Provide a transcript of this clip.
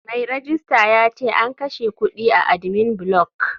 Mai rejista yace an kashe kudin a admin block.